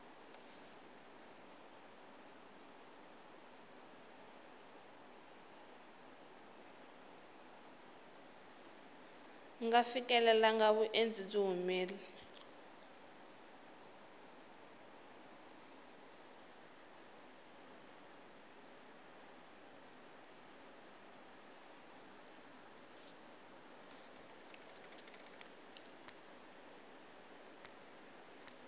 nga fikelelangi vundzeni byi humile